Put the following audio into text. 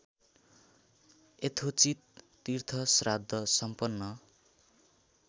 यथोचित तीर्थश्राद्ध सम्पन्न